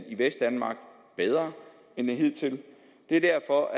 i vestdanmark bedre end hidtil det er derfor